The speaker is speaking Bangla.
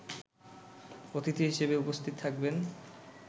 অতিথি হিসেবে উপস্থিত থাকবেন